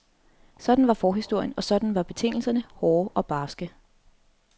Sådan var forhistorien, og sådan var betingelserne, hårde og barske.